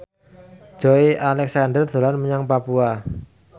Joey Alexander dolan menyang Papua